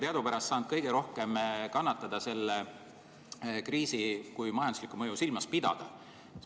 Teadupärast on turismisektor saanud kõige rohkem selle kriisi tõttu kannatada, kui majanduslikku mõju silmas pidada.